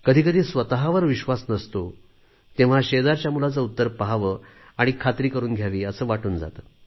कधी कधी स्वतवर विश्वास नसतो तेव्हा शेजारच्या मुलाचे उत्तर पहावे आणि खात्री करून घ्यावी असे वाटून जाते